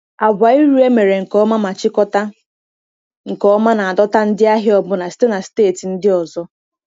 Agwa iru e mere nke ọma ma chịkọta nke ọma na-adọta ndị ahịa ọbụna site na steeti ndị ọzọ.